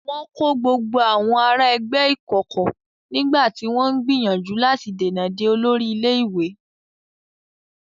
Wọn kó gbogbo àwọn ará ẹgbẹ́ ìkọ̀kọ̀ nígbà tí wọ́n ń gbìyànjú láti dènà de olórí ilé-ìwé.